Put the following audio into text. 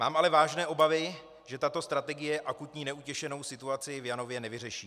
Mám ale vážné obavy, že tato strategie akutní neutěšenou situaci v Janově nevyřeší.